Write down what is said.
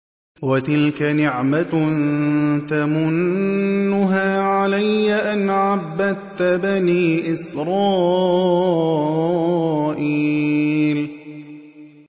وَتِلْكَ نِعْمَةٌ تَمُنُّهَا عَلَيَّ أَنْ عَبَّدتَّ بَنِي إِسْرَائِيلَ